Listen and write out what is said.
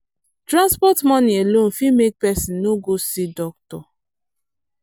transport money alone fit make person no go see doctor.